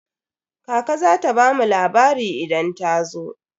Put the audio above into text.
Kaka za ta bamu labari idan ta zo.